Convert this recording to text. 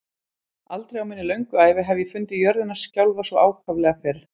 Aldrei á minni löngu ævi hef ég fundið jörðina skjálfa svo ákaflega fyrr